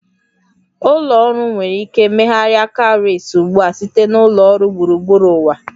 Ụlọ ọrụ nwere ike megharịa cowries ugbu a site na ụlọ ọrụ gburugburu ụwa